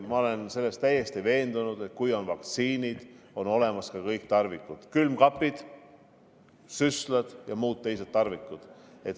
Ma olen täiesti veendunud, et kui on vaktsiinid, siis on olemas ka kõik tarvikud: külmkapid, süstlad ja muu.